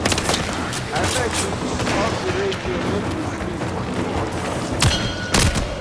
Abeg you fit off di radio make we sleep small.